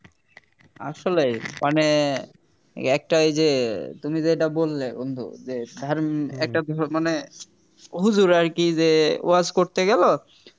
আসলেই মানে একটা এই যে তুমি যেটা বললে বন্ধু যে ধার্মিক একটা মানে একটা হুজুর আর কি যে ওয়াজ করতে গেল